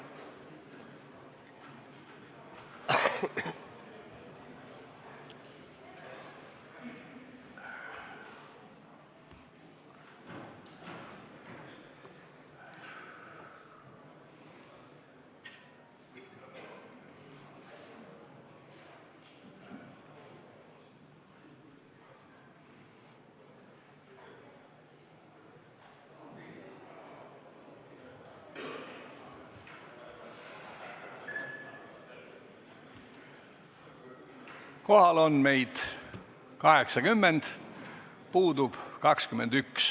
Kohaloleku kontroll Kohal on meid 80, puudub 21.